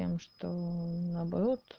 тем что наоборот